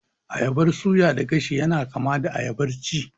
Ayabar suya da gashi yana kama da ayabar ci